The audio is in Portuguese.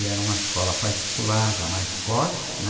E era uma escola particular já, mais forte, né?